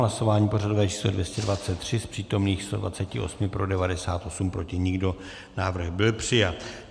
Hlasování pořadové číslo 223, z přítomných 128 pro 98, proti nikdo, návrh byl přijat.